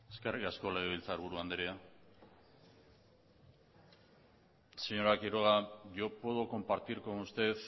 eskerrik asko legebiltzarburu andrea señora quiroga yo puedo compartir con usted